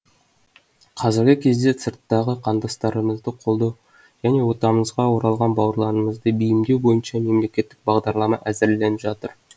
қазіргі кезде сырттағы қандастарымызды қолдау және отанымызға оралған бауырларымызды бейімдеу бойынша мемлекеттік бағдарлама әзірленіп жатыр